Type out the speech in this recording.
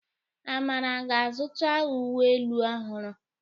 Amara ga-azụta uwe elu ọhụrụ.